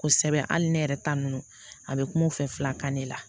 Kosɛbɛ hali ne yɛrɛ ta ninnu a bɛ kuma u fɛla kan ne la